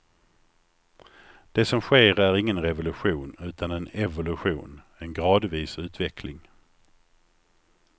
Det som sker är ingen revolution utan en evolution, en gradvis utveckling.